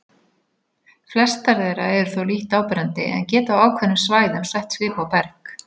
Flestar þeirra eru þó lítt áberandi en geta á ákveðnum svæðum sett svip á berg.